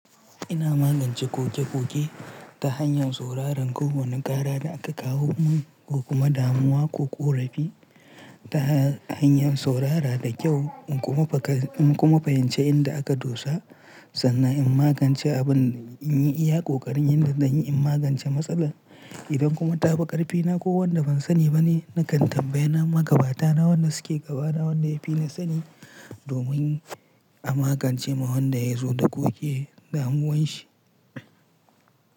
Ina magance koke-koke ta hanyar sauraron ko wane ƙara da aka kawo mun ko kuma damuwa ko ƙorafi ta hanyar saurara da kyau kuma, in kuma fahimci inda aka dosa sannan in magance abin, in iya ƙoƙarin yanda zan yi in magance matsalar idan kuma ta fi ƙarfina ko wanda ban sani ba ne nakan tambaye na magabata na wanda suke gaba na wanda ya fi ni sani domin a magance ma wanda ya zo da koke damuwar shi.